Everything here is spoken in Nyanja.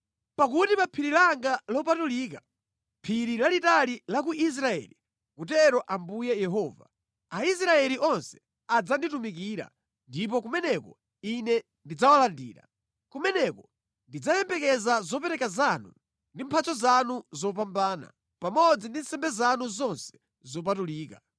Pakuti pa phiri langa lopatulika, phiri lalitali la ku Israeli, akutero Ambuye Yehova, Aisraeli onse adzanditumikira, ndipo kumeneko Ine ndidzawalandira. Kumeneko ndidzayembekeza zopereka zanu ndi mphatso zanu zopambana, pamodzi ndi nsembe zanu zonse zopatulika.